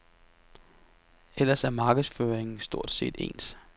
Ellers er markedsføringen stort set ens.